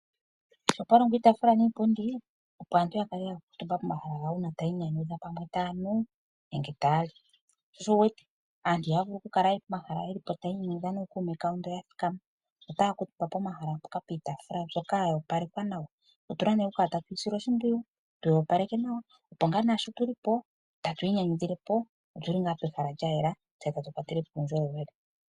Ohapulongwa iitaafula niipundi, opo aantu ya kale yakuutumba pomahala gawo uuna ta yiinyanyudha pamwe taa nu nenge taa li. Sho osho wu wete aantu i haya vulu ku kala pomahala ye li po tayiinyanyudha nookuume kawo ndoo ya thikama, otaya kuutumba pomahala mpoka piitaafula mbyoka yo opalekwa nawa, otu na nee okukala tatu yi sile oshimpwiyu tu yi opaleke nawa opo ngaa naasho tu li po, tatu inyanyudhile po otu li ngaa pehala lya yela tse ta tu kwatele po uundjolowele.